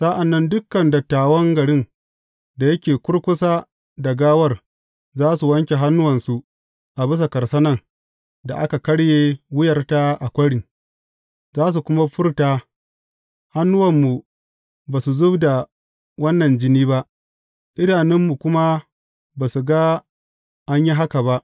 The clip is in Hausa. Sa’an nan dukan dattawan garin da yake kurkusa da gawar za su wanke hannuwansu a bisa karsanan da aka karye wuyar a kwarin, za su kuma furta, Hannuwanmu ba su zub da wannan jini ba, idanunmu kuma ba su ga an yi haka ba.